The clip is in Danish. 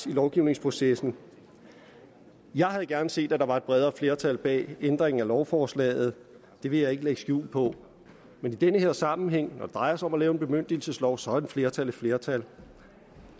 i lovgivningsprocessen jeg havde gerne set at der var et bredere flertal bag ændringen af lovforslaget det vil jeg ikke lægge skjul på men i den her sammenhæng hvor det drejer sig om at lave en bemyndigelseslov så er et flertal i flertal